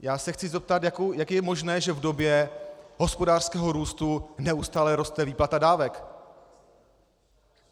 Já se chci zeptat, jak je možné, že v době hospodářského růstu neustále roste výplata dávek.